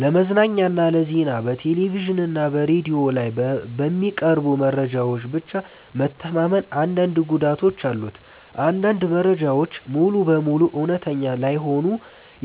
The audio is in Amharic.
ለመዝናኛና ለዜና በቴሌቪዥን እና በሬዲዮ ላይ በሚቀርቡ መረጃዎች ብቻ መተማመን አንዳንድ ጉዳቶች አሉት። አንዳንድ መረጃዎች ሙሉ በሙሉ እውነተኛ ላይሆኑ